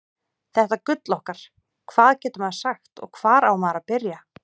Þetta gull okkar, hvað getur maður sagt og hvar á maður að byrja?